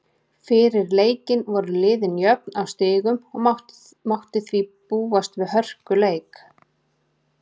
Fyrir leikinn voru liðin jöfn á stigum og mátti því búast við hörkuleik.